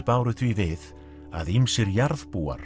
báru því við að ýmsir